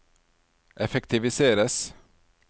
effektiviseres